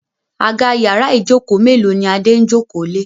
Àga yàrá Ijoko melo ní Ade ń joko lẹ.